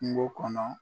Kungo kɔnɔ